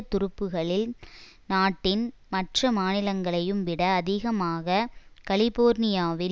துருப்புகளில் நாட்டின் மற்ற மாநிலங்களையும் விட அதிகமாக கலிபோர்னியாவில்